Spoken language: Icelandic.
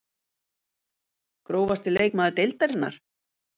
Grófasti leikmaður deildarinnar?